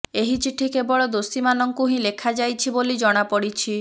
ଏହି ଚିଠି କେବଳ ଦୋଷୀମାନଙ୍କୁ ହିଁ ଲେଖାଯାଇଛି ବୋଲି ଜଣାପଡିଛି